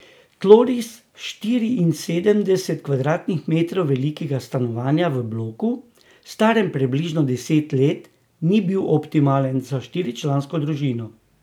Tloris štiriinsedemdeset kvadratnih metrov velikega stanovanja v bloku, starem približno deset let, ni bil optimalen za štiričlansko družino.